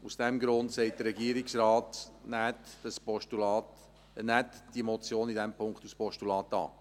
Aus diesem Grund sagt der Regierungsrat: Nehmen Sie die Motion in diesem Punkt als Postulat an.